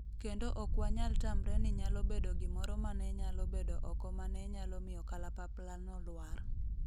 kendo ok wanyal tamre ni nyalo bedo gimoro mane nyalo bedo oko mane nyalo miyo kalapaplano lwar